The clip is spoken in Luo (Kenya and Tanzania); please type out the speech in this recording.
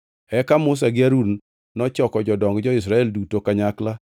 Eka Musa gi Harun nochoko jodong jo-Israel duto kanyakla,